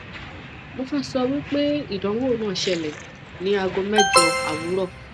mo fe sowipe idanwo na sele ni ago mejo awuro